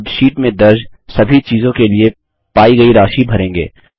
अब शीट में दर्ज सभी चीज़ों के लिए पायी गयी राशि भरेंगे